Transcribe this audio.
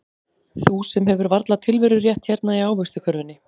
Þú sem hefur varla tilverurétt hérna í ávaxtakörfunni.